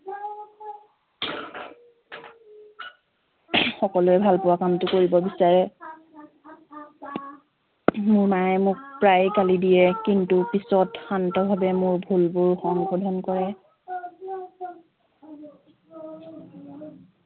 সকলোৱে ভাল পোৱা কামটো কৰিব বিচাৰে মোৰ মায়ে মোক প্ৰায়ে গালি দিয়ে কিন্তু পিছত শান্তভাৱে মোৰ ভুলবোৰ সংশোধন কৰে